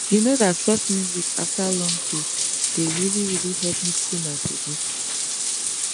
you know that soft music after long day dey really really help me cool my body